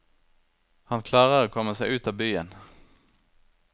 Han klarer å komme seg ut av byen.